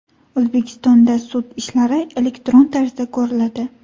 O‘zbekistonda sud ishlari elektron tarzda ko‘riladi.